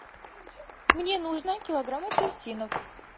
мне нужно килограмм апельсинов